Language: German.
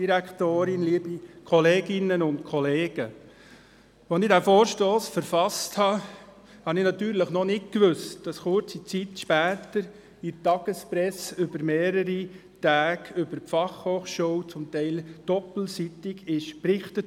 Als ich diesen Vorstoss verfasste, wusste ich nicht, dass kurze Zeit später die Tagespresse während mehrerer Tage über Probleme und Baustellen der Fachhochschule – teilweise doppelseitig – berichtet.